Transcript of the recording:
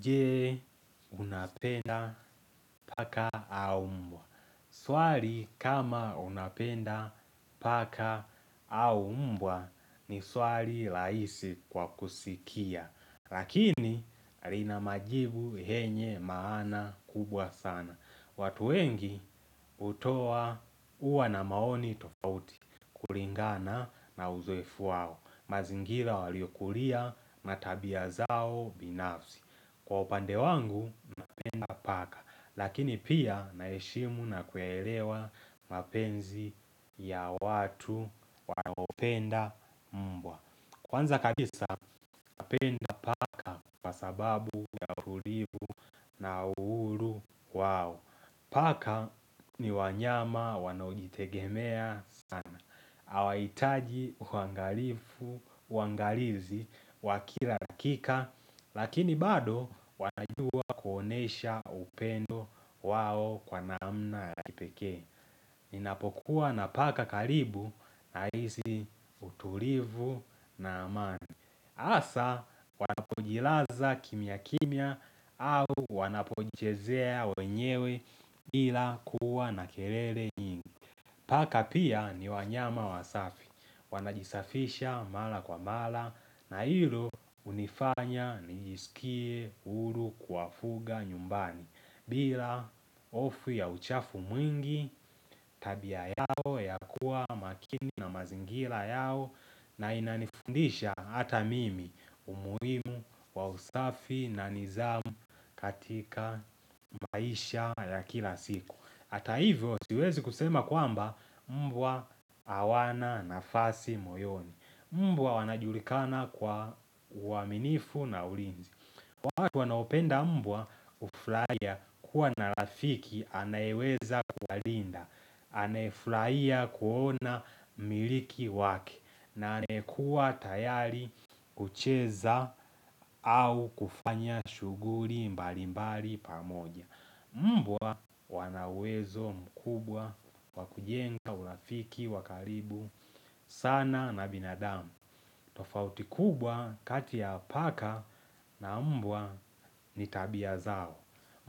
Je unapenda paka au mbwa. Swari kama unapenda paka au mbwa ni swari laisi kwa kusikia. Lakini rinamajibu yenye maana kubwa sana. Watu wengi hutoa huwa na maoni tofauti kulingana na uzoefu wao. Mazingira waliokulia matabia zao binafsi. Kwa upande wangu, mapenda paka, lakini pia naishemu na kuelewa mapenzi ya watu wanaupenda mbwa Kwanza kabisa, mapenda paka sababu na uhuru wao, paka ni wanyama wanojitegemea sana hawaitaji uangalifu, uangalizi, wakila dakika, lakini bado wanajua kuonesha upendo wao kwa naamna ya kipekee. Ninapokuwa na paka kalibu na hizi utulivu na amani. Asa wanapojilaza kimya kimya au wanapojizea wenyewe ila kuwa na keiele nyingi. Paka pia ni wanyama wa safi, wanajisafisha mala kwa mala na hilo unifanya nijisikie hulu kuwafuga nyumbani. Bila hofu ya uchafu mwingi tabia yao ya kuwa makini na mazingira yao na inanifundisha hata mimi umuimu wa usafi na nizamu katika maisha ya kila siku. Hata hivyo siwezi kusema kwamba mbwa awana nafasi moyoni Mbwa wanajulikana kwa uaminifu na ulinzi watu wanaopenda mbwa hufurahia kuwa narafiki anayeweza kuwa linda Anaefulaia kuona miliki wake na anayekua tayari kucheza au kufanya shughuri mbali mbali pamoja Mbwa wanauwezo mkubwa, wakujenga, urafiki, wakaribu, sana na binadamu tofauti kubwa katia paka na mbwa nitabia zao